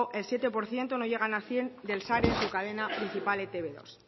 el siete por ciento no llegan al cien del share de su cadena principal e te be dos